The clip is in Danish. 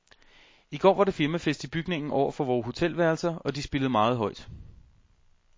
I går var der firmafest i bygningen over for vore hotelværelser, og de spillede meget højt.